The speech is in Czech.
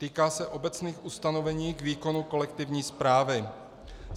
Týká se obecných ustanovení k výkonu kolektivní správy.